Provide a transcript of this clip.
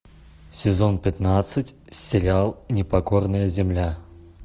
сезон пятнадцать сериал непокорная земля